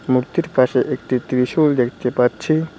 মূর্তির পাশে একটি ত্রিশূল দেখতে পাচ্ছি।